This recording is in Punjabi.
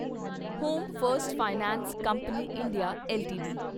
home first finance company India LTD